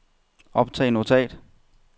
optag notat